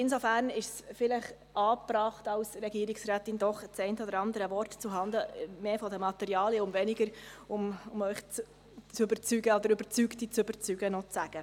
Insofern ist es vielleicht angebracht, als Regierungsrätin doch das eine oder andere Wort zu sagen, mehr zuhanden der Materialien, und weniger, um Sie zu überzeugen, oder Überzeugte noch zu überzeugen, sozusagen.